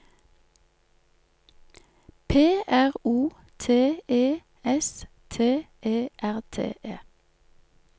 P R O T E S T E R T E